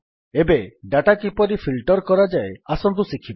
ଏବେ ଡାଟା କିପରି ଫିଲ୍ଟର୍ କରାଯାଏ ଆସନ୍ତୁ ଶିଖିବା